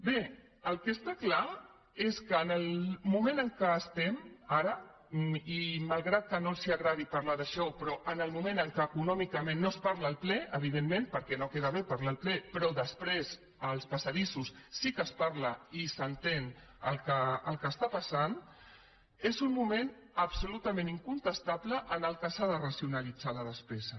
bé el que està clar és que el moment en què estem ara i malgrat que no els agradi parlar d’això el moment econòmic de què no es parla al ple evidentment perquè no queda bé parlar ne al ple però després als passadissos sí que se’n parla i s’entén el que passa és un moment en què és absolutament incontestable que s’ha de racionalitzar la despesa